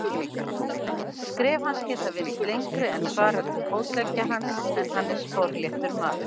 Skref hans geta virst lengri en svarar til fótleggja hans, en hann er sporléttur maður.